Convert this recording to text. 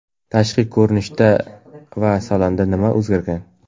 Tashqi ko‘rinishda va salonda nima o‘zgargan?